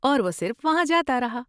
اور وہ صرف وہاں جاتا رہا ہے۔